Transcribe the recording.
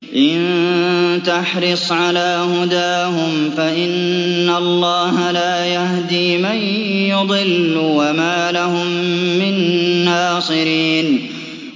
إِن تَحْرِصْ عَلَىٰ هُدَاهُمْ فَإِنَّ اللَّهَ لَا يَهْدِي مَن يُضِلُّ ۖ وَمَا لَهُم مِّن نَّاصِرِينَ